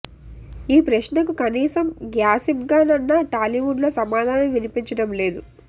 ఈ ప్రశ్నకు కనీసం గ్యాసిప్ గా నన్నా టాలీవుడ్ లో సమాధానం వినిపించడం లేదు